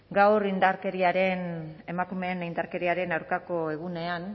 gaur emakumeen aurkako indarkeria ezabatzeko nazioarteko egunean